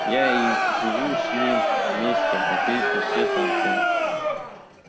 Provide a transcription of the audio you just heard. я и живу с ним вместе ответил честно артём